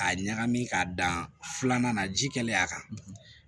K'a ɲagami k'a dan filanan na ji kɛlen a kan